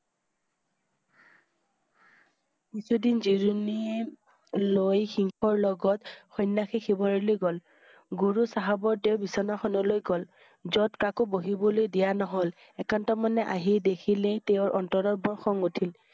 জিৰণি লৈ সিংহৰ লগত সন্যাসী শিবিৰলৈ গ'ল। গুৰু চাহাব তেওঁ বিছনা খন লৈ গ'ল। য'ত কাকো বহিবলৈ দিয়া নহ'ল। একান্তমনে আহি দেখিলে তেওঁৰ অন্তৰত বৰ খং উঠিল।